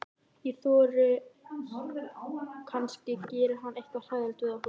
Ég þori ekki, kannski gerir hann eitthvað hræðilegt við okkur.